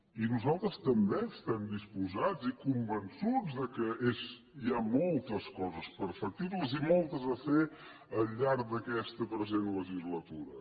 i nosaltres també estem disposats i convençuts que hi ha moltes coses perfectibles i moltes a fer al llarg d’aquesta present legislatura